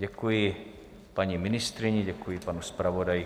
Děkuji paní ministryni, děkuji panu zpravodaji.